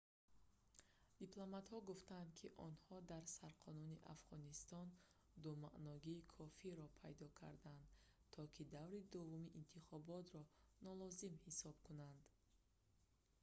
дипломатҳо гуфтанд ки онҳо дар сарқонуни афғонистон думаъногии кофиро пайдо карданд то ки даври дуввуми интихоботро нолозим ҳисоб кунанд